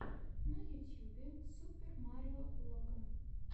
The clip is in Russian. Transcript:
на ютьюбе супер марио логан